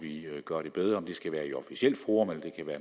gøre det bedre om det skal være i officielt forum eller